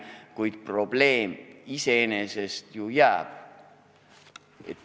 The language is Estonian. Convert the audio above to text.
Kuid probleem iseenesest ju jääb.